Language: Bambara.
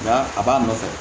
Nka a b'a nɔfɛ